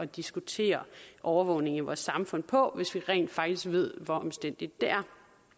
diskutere overvågningen i vores samfund på hvis vi rent faktisk ved hvor omstændigt det er